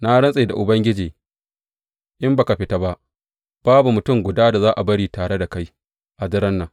Na rantse da Ubangiji, in ba ka fita ba, babu mutum guda da za a bari tare da kai a daren nan.